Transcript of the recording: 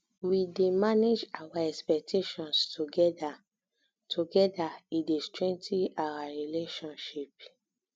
we dey manage our expectations together together e dey strengthen our relationship